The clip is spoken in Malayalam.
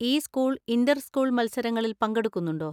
ഈ സ്കൂൾ ഇന്‍റർ സ്കൂൾ മത്സരങ്ങളിൽ പങ്കെടുക്കുന്നുണ്ടോ?